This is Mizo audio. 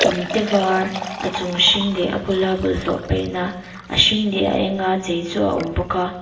inte var a chung hring leh a bula bawlhhlawh paihna a hring leh a enga chei chu a awm bawka.